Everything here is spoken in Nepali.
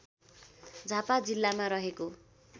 झापा जिल्लामा रहेको